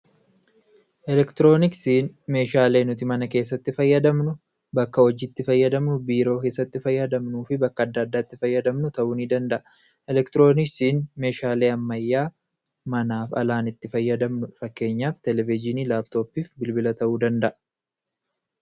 Elektirooniksiin meeshaalee nuti mana keessatti fayyadamnu, bakka hojiitti fayyadamnu, biiroo keessatti fayyadamnuufi bakka adda addaatti fayyadamnu ta'uu nidanda'a. Elektirooniksiin meeshaalee ammayyaa manaaf alaan itti fayyadamnudha. Fakkeenyaaf televizhinii, laptoppiif bilbila ta'uu danda'a.